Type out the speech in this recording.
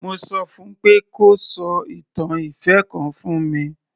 Mo sọ fún un pé kó sọ ìtàn ìfẹ́ kan fún mi.